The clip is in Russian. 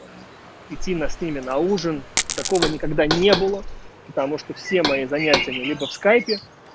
идти на сними на ужин такого никогда не было потому что все мои занятия они либо в скайпе